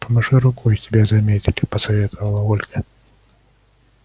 помаши рукой тебя заметили посоветовала ольга